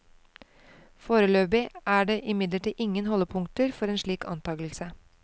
Foreløpig er det imidlertid ingen holdepunkter for en slik antagelse.